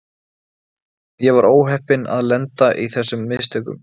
Ég var óheppinn að lenda í þessum mistökum.